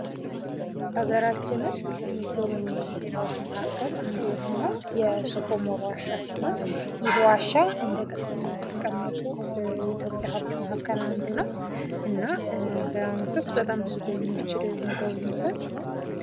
ሀገራችን ውስጥ ከሚጎበኙ ቦታዎች መካከል አንዱ የሆነው ሶፍ ኡመር ዋሻ ሲሆን ይህ ዋሻ እንደ ቅርስነት ከተቀመጠመጡ የኢትዮጵያ ህብቶች መካከል አንዱ ነው። እና በአመት ውስጥ ብዙ ጎብኚዎች ሄደው ይጎበኙታል።